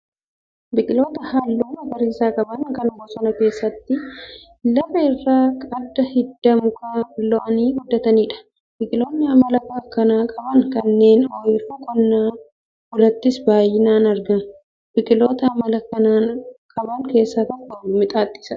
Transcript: Biqiloota baala halluu magariisa qaban kan bosona keessatti lafa irra akka hidda mukaa lo'anii guddataniidha. Biqiloonni amala akkanaa qaban naannoo oyiruu qonnaan bulaattis baayinaan argamu. Biqiloota amala akkanaa qaban keessaa tokko mixaaxisha.